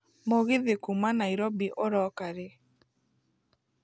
mũgithi kuuma nairobi ũroka rĩ